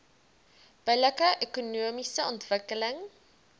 billike ekonomiese ontwikkeling